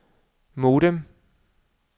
modem